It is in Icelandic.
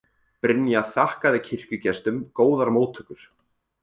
Brynja þakkaði kirkjugestum góðar móttökur